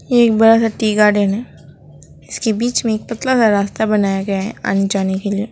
एक बार tea garden है इसके बीच में एक पतला का रास्ता बनाया गया है अनजाने के लिए।